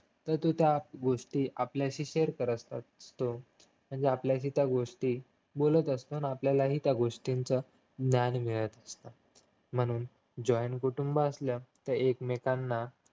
ते सुद्धा गोष्टी आपल्याशी share करत असतात म्हणजे आपल्याशी त्या गोष्टी बोलत असतात आपल्यालाही त्या गोष्टींचा ज्ञान मिळत असत म्हणून joine कुटुंब असलं तर एकमेकांना